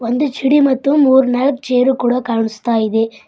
ಒಂದು ಛಿಡಿ ಮತ್ತು ಮೂರ್ನಾಲ್ಕು ಚೇರ್ ಕೂಡ ಕಾಣುಸ್ತಾಯಿದೆ.